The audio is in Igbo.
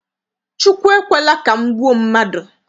Chukwu ekwela ka m gbuo mmadụ.